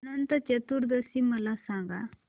अनंत चतुर्दशी मला सांगा